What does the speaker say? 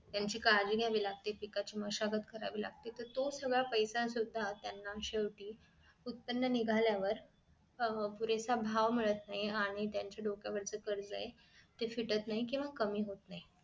त्यांची काळजी घ्यावी लागते पिकाची मशागत करावी लागते तर तो सगळा पैसा सुद्धा त्यांना शेवटी उत्पन्न निघाल्यावर अह पुरेसा भाव मिळत नाही आणि त्यांची डोक्यावरच कर्ज आहे ते फिटत नाही केंव्हा कमी होत नाही